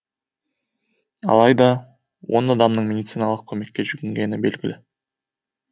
алайда он адамның медициналық көмекке жүгінгені белгілі